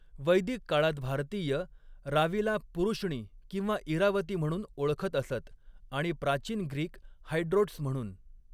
वैदिक काळात भारतीय, रावीला पुरुष्णी किंवा इरावती म्हणून ओळखत असत आणि प्राचीन ग्रीक हायड्रोट्स म्हणून.